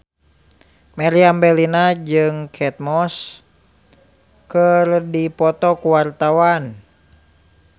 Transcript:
Meriam Bellina jeung Kate Moss keur dipoto ku wartawan